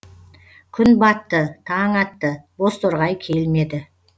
күн батты таң атты бозторғай келмеді